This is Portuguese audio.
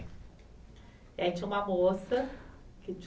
E aí tinha uma moça